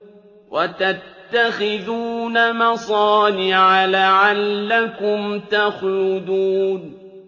وَتَتَّخِذُونَ مَصَانِعَ لَعَلَّكُمْ تَخْلُدُونَ